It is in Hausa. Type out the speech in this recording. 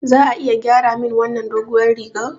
Za a iya gyara min wannan doguwar rigar?